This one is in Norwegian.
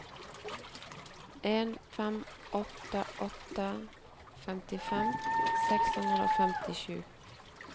en fem åtte åtte femtifem seks hundre og femtisju